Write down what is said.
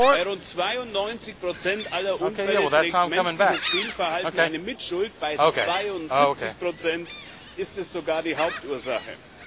Bei rund 92 aller Unfälle trägt menschliches Fehlverhalten eine Mitschuld, bei 72 ist es sogar die Hauptursache.